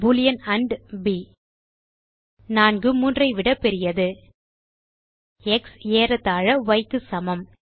Boolean and p 4 3 ஐ விட பெரியது எக்ஸ் ஏறத்தாழ ய் க்கு சமம்